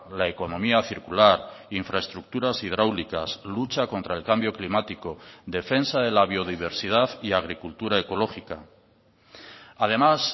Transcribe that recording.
la economía circular infraestructuras hidráulicas lucha contra el cambio climático defensa de la biodiversidad y agricultura ecológica además